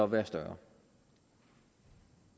være større